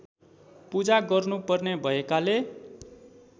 पूजा गर्नुपर्ने भएकाले